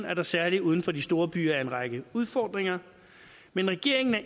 at der særlig uden for de store byer er en række udfordringer men regeringen er